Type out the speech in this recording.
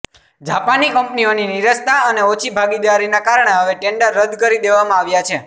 જાપાની કંપનીઓની નીરસતા અને ઓછી ભાગીદારીના કારણે હવે ટેન્ડર રદ કરી દેવામાં આવ્યા છે